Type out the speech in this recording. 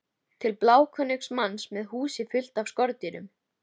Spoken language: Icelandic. Til bláókunnugs manns með húsið fullt af skordýrum.